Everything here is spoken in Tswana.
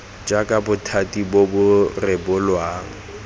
jaaka bothati bo bo rebolang